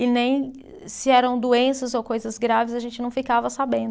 E nem se eram doenças ou coisas graves, a gente não ficava sabendo.